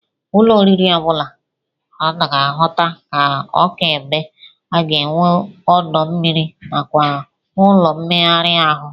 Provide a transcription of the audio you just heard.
Ụlọ oriri ọ bụla a na-ahụta ka ọka ibe ga-enwe ọdọ mmiri nakwa ụlọ mmegharị ahụ